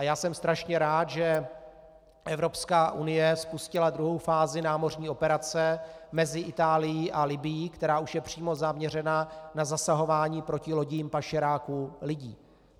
A já jsem strašně rád, že Evropská unie spustila druhou fázi námořní operace mezi Itálií a Libyí, která už je přímo zaměřena na zasahování proti lodím pašeráků lidí.